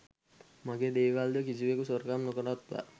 මගේ දේවල්ද කිසිවකු සොරකම් නොකරත්වා